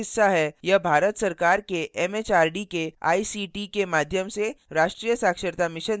यह भारत सरकार के एमएचआरडी के आईसीटी के माध्यम से राष्ट्रीय साक्षरता mission द्वारा समर्थित है